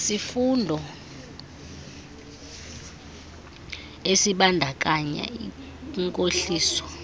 sifundo esibandakanya inkohliso